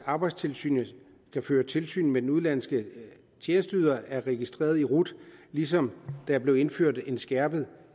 at arbejdstilsynet kan føre tilsyn med om den udenlandske tjenesteyder er registreret i rut ligesom der blev indført et skærpet